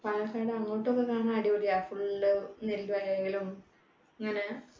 പാലക്കാട് അങ്ങോട്ടൊക്കെ കാണാൻ അടിപൊളിയാ. full നെൽവയലും അങ്ങനെ